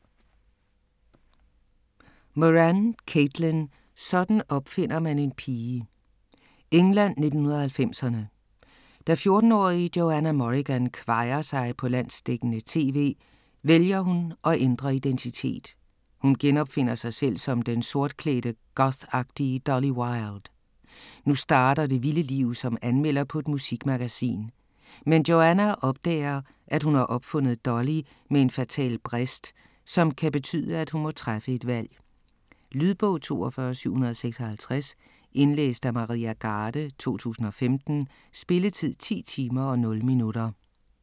Moran, Caitlin: Sådan opfinder man en pige England, 1990'erne. Da 14-årige Johanna Morrigan kvajer sig på landsdækkende tv, vælger hun at ændre identitet. Hun genopfinder sig selv som den sortklædte gothagtige Dolly Wilde. Nu starter det vilde liv som anmelder på et musikmagasin. Men Johanna opdager at hun har opfundet Dolly med en fatal brist, som kan betyde at hun må træffe et valg. Lydbog 42756 Indlæst af Maria Garde, 2015. Spilletid: 10 timer, 0 minutter.